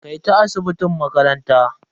Kai ta asibitin makaranta.